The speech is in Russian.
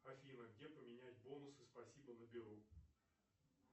афина где поменять бонусы спасибо на беру